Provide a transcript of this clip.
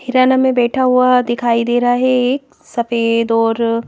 हिराना में बैठा हुआ दिखाई दे रहा है एक सफेद और--